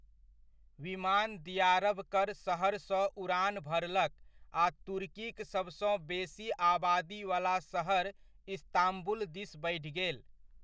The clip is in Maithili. विमान दियारबकर सहरसँ उड़ान भरलक आ तुर्कीक सबसँ बेसी आबादीवला सहर इस्तांबुल दिस बढ़ि गेल।